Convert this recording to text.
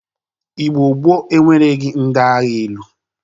Igbo gboo enwereghi ndị agha elu.